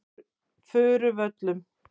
Furuvöllum